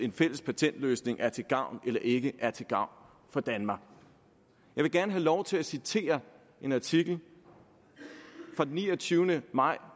en fælles patentløsning er til gavn eller ikke er til gavn for danmark jeg vil gerne have lov til at citere en artikel fra den niogtyvende maj